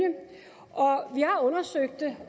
vi har undersøgt det